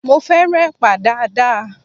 Mo fẹ́ràn Ẹ̀pà dáadáa